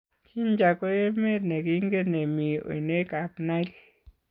Jinja ko emet ne kingen ne mii oinekab Nile.